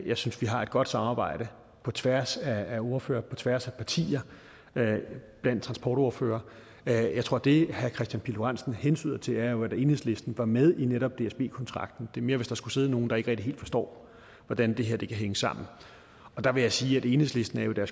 jeg synes vi har et godt samarbejde på tværs af ordførere på tværs af partier blandt transportordførere jeg tror at det herre kristian pihl lorentzen hentyder til jo er at enhedslisten var med i netop dsb kontrakten det er mere hvis der skulle sidde nogle der ikke rigtig helt forstår hvordan det her kan hænge sammen der vil jeg sige at enhedslisten jo er